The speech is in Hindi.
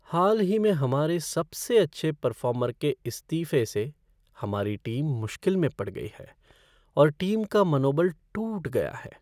हाल ही में हमारे सबसे अच्छे परर्फॉर्मर के इस्तीफ़े से हमारी टीम मुश्किल में पड़ गई है और टीम का मनोबल टूट गया है।